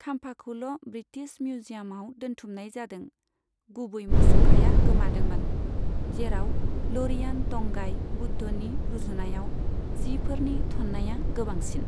खाम्फाखौल' British मिउजियामाव दोनथुमनाय जादों। गुबै मुसुखाया गोमादोंमोन, जेराव ल'रियान तंगाइ बुद्धनि रुजुनायाव जिफोरनि थन्नाया गोबांसिन।